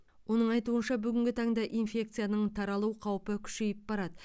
оның айтуынша бүгінгі таңда инфекцияның таралу қаупі күшейіп барады